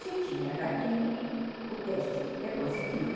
Se tinha ratinhos, o teste é positivo.